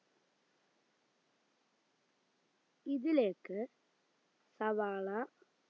ഇതിലേക്ക് സവാള